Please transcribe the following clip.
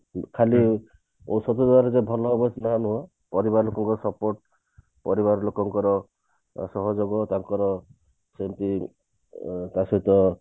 ଖାଲି ଏସବୁ ଜାଗାରେ ଯଦି ଭଲ ହେବ ତାହେଲେ ପରିବାର ଲୋକଙ୍କ support ପରିବାର ଲୋକଙ୍କର ସହଯୋଗ ତାଙ୍କର ସେମତି ଅ ତା ସହିତ